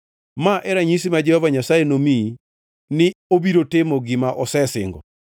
“ ‘Ma e ranyisi ma Jehova Nyasaye nomiyi ni obiro timo gima osesingo: